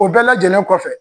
O bɛɛ lajɛlen kɔfɛ.